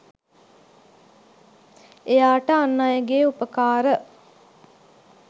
එයාට අන් අයගේ උපකාර